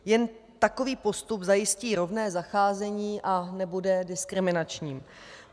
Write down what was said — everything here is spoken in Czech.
Jen takový postup zajistí rovné zacházení a nebude diskriminační.